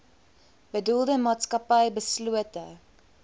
bedoelde maatskappy beslote